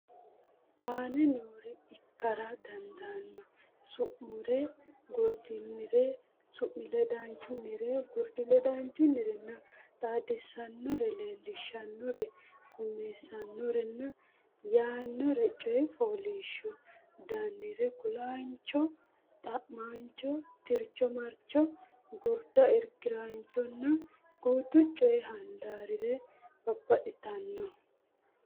aane noore ikkara dandaanno Su munnire gurdunnire su mi ledaanchunnire gurdi ledaanchunnirenna xaadisaanonnire Leellishaanonnire qummisaanonnire yannannire Coy fooliishsho danire kulaancho xa maancho tircho marcho gurdancho Irki raanchunna guutu coy handaarire Babbaxxitino.